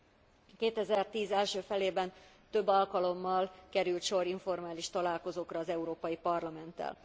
2010 első felében több alkalommal került sor informális találkozókra az Európai Parlamenttel.